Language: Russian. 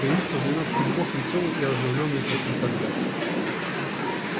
появиться в двенадцати дубах весёлой и оживлённой как никогда